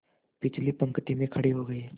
पिछली पंक्ति में खड़े हो गए